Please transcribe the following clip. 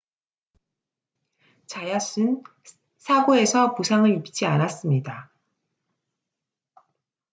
자얏은 사고에서 부상을 입지 않았습니다